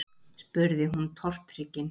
spurði hún tortryggin.